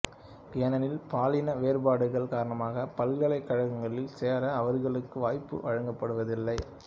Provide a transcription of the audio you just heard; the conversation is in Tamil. ஏனெனில் பாலின வேறுபாடுகள் காரணமாக பல்கலைக்கழகங்களில் சேர அவர்களுக்கு வாய்ப்பு வழங்கப்படுவதில்லை